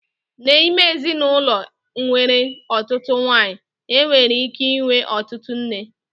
N'ime ezinụlọ nwere ọtụtụ nwanyị, enwere ike ịnwe ọtụtụ nne.